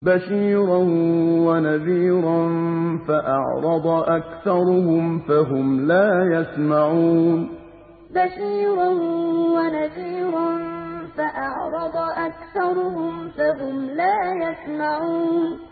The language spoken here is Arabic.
بَشِيرًا وَنَذِيرًا فَأَعْرَضَ أَكْثَرُهُمْ فَهُمْ لَا يَسْمَعُونَ بَشِيرًا وَنَذِيرًا فَأَعْرَضَ أَكْثَرُهُمْ فَهُمْ لَا يَسْمَعُونَ